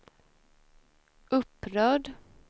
upprörd